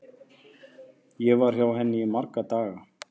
Ég var hjá henni í marga daga.